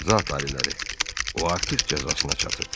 Zat aliləri, o artıq cəzasına çatıb.